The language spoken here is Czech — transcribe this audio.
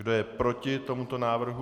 Kdo je proti tomuto návrhu?